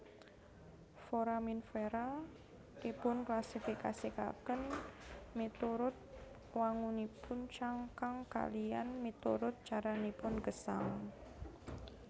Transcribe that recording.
Foraminfera dipunklasifikasikaken miturut wangunipun cangkang kaliyan miturut caranipun gesang